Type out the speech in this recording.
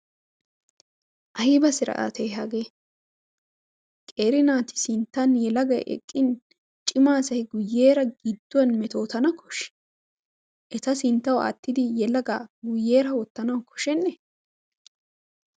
Ayba siraatee hagee? Qeeri naati sinttan yelagay eqqin cima asay guyyeera gidduwan metootana koshshii? Eta sinttawu aattidi yelagaa guyyeera wottanawu koshshennee?